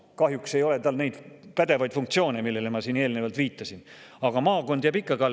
Kahjuks ei ole tal neid pädevaid funktsioone, millele ma eelnevalt viitasin, aga maakond jääb ikkagi alles.